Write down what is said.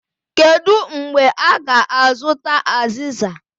Kedu mgbe a ga-azụta aziza?